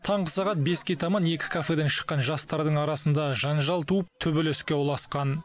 таңғы сағат беске таман екі кафеден шыққан жастардың арасында жанжал туып төбелеске ұласқан